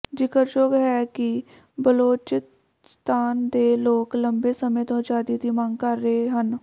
ਜ਼ਿਕਰਯੋਗ ਹੈ ਕਿ ਬਲੋਚਿਸਤਾਨ ਦੇ ਲੋਕ ਲੰਬੇ ਸਮੇਂ ਤੋਂ ਆਜ਼ਾਦੀ ਦੀ ਮੰਗ ਕਰ ਰਹੇ ਹਨ